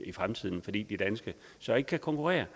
i fremtiden fordi de danske så ikke kan konkurrere